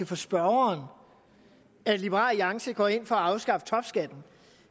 for spørgeren at liberal alliance går ind for at afskaffe topskatten